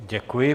Děkuji.